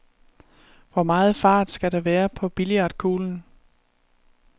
Hvor meget fart skal der være på billiardkuglen?